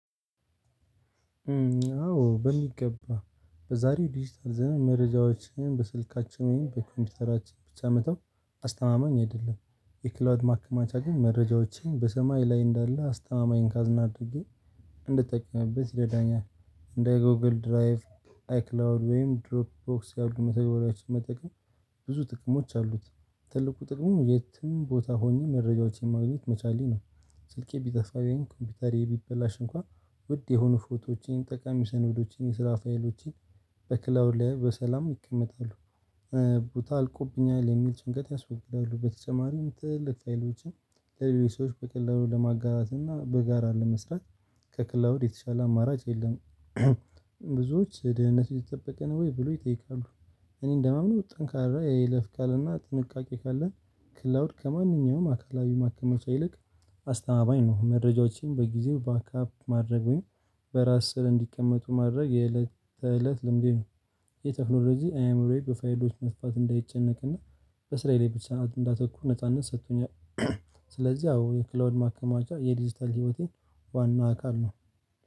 አዎ በሚገባ። በዛሬው ዲጂታል ዘመን መረጃዎችን በስልካችን ወይም በኮምፒውተራችን ብቻ መተው አስተማማኝ አይደለም። የክላውድ ማከማቻ ግን መረጃዎችን በሰማይ ላይ እንዳለ አስተማማኝን ካዝና አድርጌ እንድጠቀምበት ይረዳኛል። እንደ ጎግል ድራይቭ አይክላውድ ወይም ድሮፕ ቦክስ ያሉ መተግበሪያዎችን መጠቀም። ብዙ ጥቅሞች አሉት። ትልቁ ጥቅሙ የትም ቦታ ሆኜ መረጃዎችን ማግኘት መቻሌ ነው። ስልኬ ቢጠፋ ወይም ኮምፒውተሬ ቢበላሽ እንኳን ውድ የሆኑ ፎቶዎቼን ጠቃሚ ሰነዶቼን የስራ ፋይሎቼን በክላውድ ላይ በሰላም ይቀመጣሉ። ቦታ አልቆብኛል የሚል ጭንቀት ያስወግዳሉ በተጨማሪም ትልልቅ ፋይሎችን በቀላሉ ለማጋራት እና በጋራ ለመስራት ከክላውድ የተሻለ አማራጭ የለም። ብዙዎች ድህንነቱ የተጠበቀ ነው ወይ ብለው ይጠይቃሉ? እኔ እንደማምነው ጠንካራ የይለፍ ቃልና ጥንቃቄ ካለን ክላውድ ከማንኛውም አካላዊ ማከመቻ ይልቅ አስተማማኝ ነው። መረጃዎችን በጊዜው ባካፕ ማድረግ ወይም በእራስ ስር እንዲቀመጡ ማድረግ የእለት ተእለት ልምዴ ነው። ይህ ቴክኖሎጂ ዓዕምሮዬ በፋይሎች መስፋት እንዳይጨነቅና በስራዬ ላይ ብቻ እንዳተኩር ነጻነት ሰጥቶኛል። ስለዚህ አዎ የክላውድ ማከማቻ የዲጂታል ህይወቴ ዋና አካል ነው